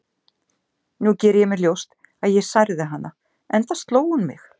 Nú geri ég mér ljóst að ég særði hana, enda sló hún mig.